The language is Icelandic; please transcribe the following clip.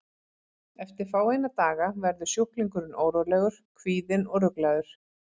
Eftir fáeina daga verður sjúklingurinn órólegur, kvíðinn og ruglaður.